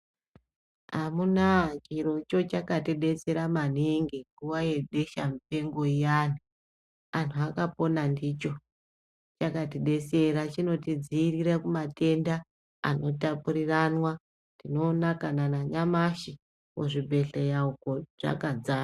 Amunaa, chirocho chakatidetsera maningi nguwa yebeshamupengo iyani. Anhu akapona ndicho. Chakatidetsera, chinodziirira kumatenda anotapuriranwa. Tinoona kana nanyamashi kuzvibhedhleya uko zvakadzara.